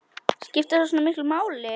Skiptir það svona miklu máli?